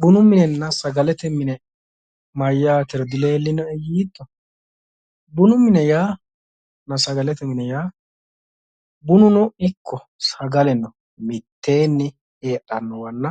Bunu minenna sagalete mine mayyaatero dileellinoe yiitto, bunu minenna sagalete mine yaa bununo ikko sagaleno mitteenni heedhannowanna